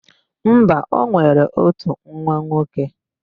Mba, o nwere ótù nwa nwoke.